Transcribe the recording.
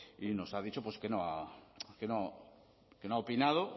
y nos ha dicho que no ha opinado